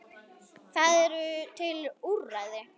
Það eru til úrræði.